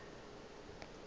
o ile ge a re